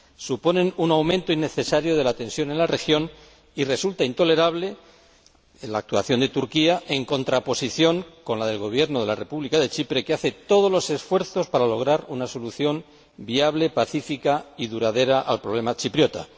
Suponen un aumento innecesario de la tensión en la región, y resulta intolerable la actuación de Turquía, en contraposición con la del Gobierno de la República de Chipre que hace todos los esfuerzos posibles para lograr una solución viable, pacífica y duradera al problema chipriota.